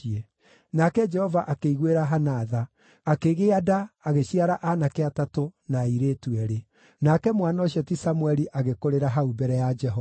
Nake Jehova akĩiguĩra Hana tha; akĩgĩa nda agĩciara aanake atatũ na airĩtu eerĩ. Nake mwana ũcio ti Samũeli agĩkũrĩra hau mbere ya Jehova.